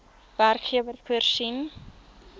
werkgewer voorsien